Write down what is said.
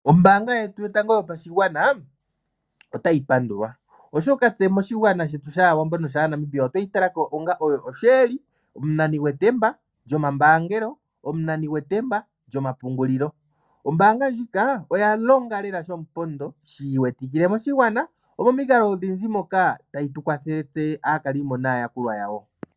Ombaanga yetu yotango yopashigwana otayi pandulwa. Oshoka tse moshigwana shetu shAawambo noshaaNamibia otweyi talako onga oyo osheeli. Omunani gwetemba lyomambaangelo, omunani gwetemba lyomapungulilo. Ombaanga ndjika oya longa lela shomupondo shi iwetikile moshigwana omomikalo odhindji moka tayi tukwathele tse aakalimo naayakulwa yawo.